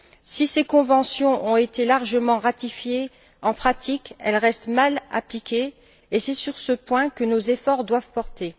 Si ces conventions ont été largement ratifiées, en pratique, elles restent mal appliquées et c'est sur ce point que nous efforts doivent porter.